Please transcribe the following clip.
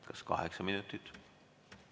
Kas kaheksa minutit?